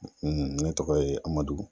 ne tɔgɔ ye Amadu.